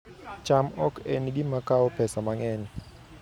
cham ok en gima kawo pesa mang'eny